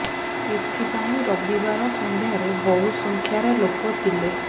ଏଥି ପାଇଁ ରବିବାର ସଂନ୍ଧ୍ୟାରେ ବହୁ ସଂଖ୍ୟାରେ ଲୋକ ଥିଲେ